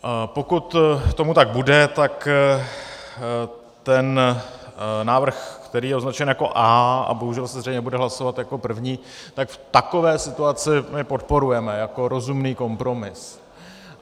Pokud tomu tak bude, tak ten návrh, který je označen jako A a bohužel se zřejmě bude hlasovat jako první, tak v takové situaci my podporujeme jako rozumný kompromis.